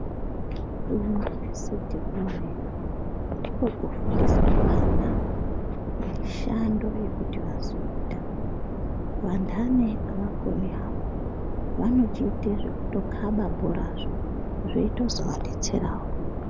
KuUniivesiti ndikwo kwofundiswe vana mishando yekuti vazoita, vanhani avakoni havo vanotoite zvekutokaba bhorazvo zveito zovadetsera wo.